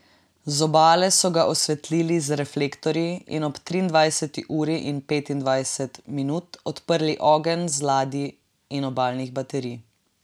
Z obale so ga osvetlili z reflektorji in ob triindvajseti uri in dvainpetdeset minut odprli ogenj z ladij in obalnih baterij.